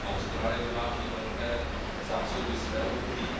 Austrálie vyváží velké zásoby svého uhlí.